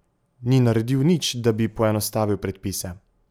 Ni naredil nič, da bi poenostavil predpise.